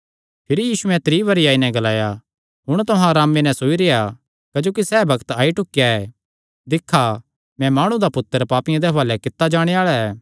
भिरी यीशुयैं त्री बरी आई नैं ग्लाया हुण तुहां अरामे नैं सोई रेह्आ सैह़ बग्त आई ढुकेया ऐ दिक्खा मैं माणु दा पुत्तर पापियां दे हुआलैं कित्ता जाणे आल़ा ऐ